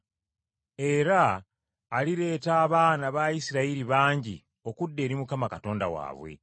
Era alireetera abaana ba Isirayiri bangi okudda eri Mukama Katonda waabwe.